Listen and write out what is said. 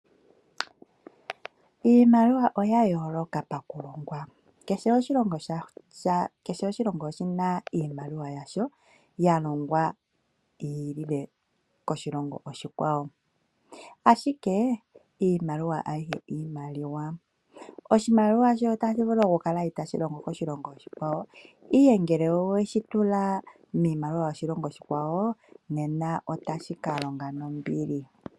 Iimaliwa oya yooloka pakulongwa, kehe oshilongo oshina iimaliwa yasho, ya longwa yi ili koshilongo oshikwawo. Ashike iimaliwa ayihe iimaliwa. Oshimaliwa shayo otashi vulu oku kala itaashi longo koshilongo oshikwawo ihe ngele oweshi tula miimaliwa yoshilongo oshikwawo, nena otashi ka longa nombili.